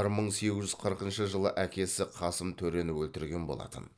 бір мың сегіз жүз қырқыншы жылы әкесі қасым төрені өлтірген болатын